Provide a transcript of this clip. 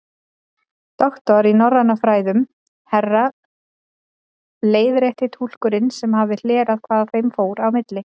Doktor í norrænum fræðum, herra leiðrétti túlkurinn sem hafði hlerað hvað þeim fór á milli.